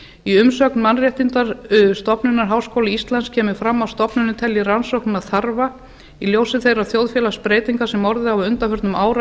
í umsögn mannréttindastofnunar háskóla íslands kemur fram að stofnunin telji rannsóknina þarfa í ljósi þeirra þjóðfélagsbreytinga sem orðið hafa á undanförnum